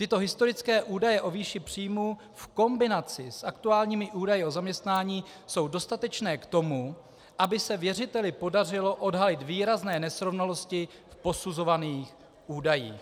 Tyto historické údaje o výši příjmu v kombinaci s aktuálními údaji o zaměstnání jsou dostatečné k tomu, aby se věřiteli podařilo odhalit výrazné nesrovnalosti v posuzovaných údajích.